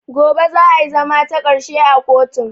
Gobe za a zama takarshe a kotun